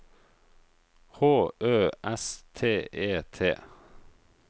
H Ø S T E T